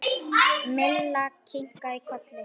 Milla kinkaði kolli.